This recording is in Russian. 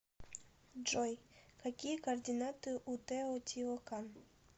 джой какие координаты у тео тио кан